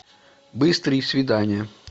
быстрые свидания